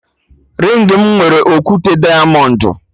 Ringị mụ nwere okwute diamọndụ